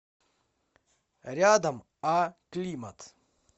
рядом а климат